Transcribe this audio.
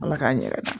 Ala k'an yɛrɛ